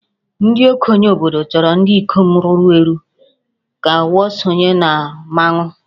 Ndị okenye obodo chọrọ ndị ikom ruru eru ka ha sonye na mmanwụ